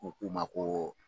U kuma ma koo.